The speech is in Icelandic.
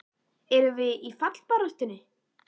Erum við í fallbaráttunni?